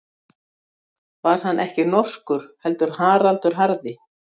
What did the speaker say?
Var hann ekki norskur, heldur Haraldur harði?